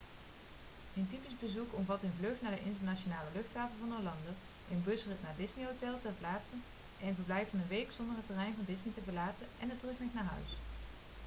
een typisch' bezoek omvat een vlucht naar de internationale luchthaven van orlando een busrit naar een disney-hotel ter plaatse een verblijf van een week zonder het terrein van disney te verlaten en de terugweg naar huis